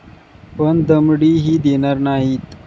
पण दमडीही देणार नाहीत.